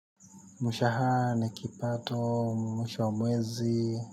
Mshahara ni kipato mwish wa mwezi.